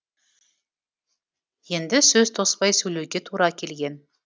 енді сөз тоспай сөйлеуге тура келген